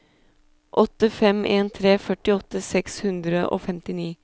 åtte fem en tre førtiåtte seks hundre og femtini